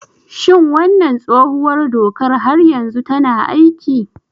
Shin wannan tsohuwar dokar har yanzu tana aiki?